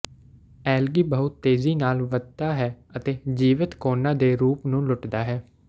algae ਬਹੁਤ ਤੇਜ਼ੀ ਨਾਲ ਵਧਦਾ ਹੈ ਅਤੇ ਜੀਵਤ ਕੋਨੇ ਦੇ ਰੂਪ ਨੂੰ ਲੁੱਟਦਾ ਹੈ